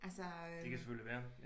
Altså øh